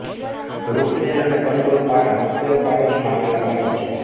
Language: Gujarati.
રૂપવેલ અને કંડોલપાડા રૂપવેલનાં પાડોશમાં આવેલાં ગામો છે